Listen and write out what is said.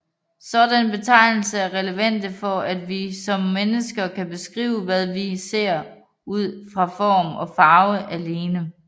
Sådanne betegnelser er relevante for at vi som mennesker kan beskrive hvad vi ser ud fra form og farve alene